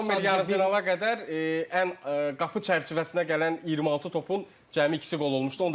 Yan Zommer yarımfinala qədər ən qapı çərçivəsinə gələn 26 topun cəmi ikisi qol olmuşdu.